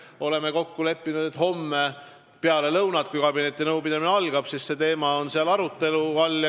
Oleme kokku leppinud, et homme peale lõunat, kui kabineti nõupidamine algab, on see teema arutelu all.